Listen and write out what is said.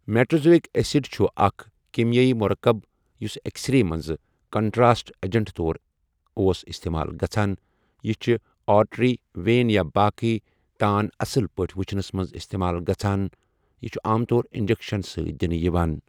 میٹرِزویِک acid چھُ اَکھ کیٖمیٲیی مُرَکَب یُس اؠکسرے مَنٛز کَنٹراسٹ اَجَنٹ طور اۄس اِستِمال گَژھان یہِ چھُ آرٹری، ویٖن یا باقی تان اصل پٲتھؠ وُچھنَس مَنٛز اِستِمال گَژھان یہِ چھُ عام طور اِنجَکشَن سٟتؠ دِنہٕ یِوان.